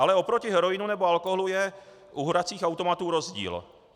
Ale oproti heroinu nebo alkoholu je u hracích automatů rozdíl.